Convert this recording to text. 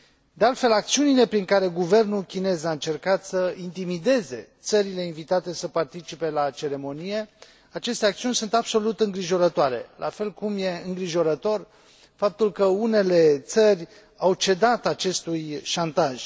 De altfel, acțiunile prin care guvernul chinez a încercat să intimideze țările invitate să participe la ceremonie aceste acțiuni sunt absolut îngrijorătoare, la fel cum e îngrijorător faptul că unele țări au cedat acestui șantaj.